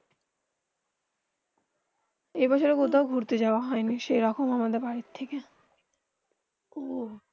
এই বছর কোথাও ঘুরতে যাওবা হয়ে নি সেই রকম আমার বাড়ি থেকে